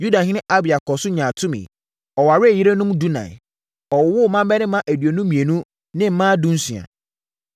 Yudahene Abia kɔɔ so nyaa tumi. Ɔwaree yerenom dunan. Ɔwoo mmammarima aduonu mmienu ne mmaa dunsia.